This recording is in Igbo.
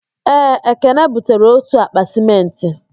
Ee, ekene butere otu akpa sịmentị